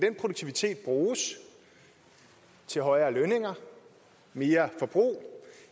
bruges til højere lønninger mere forbrug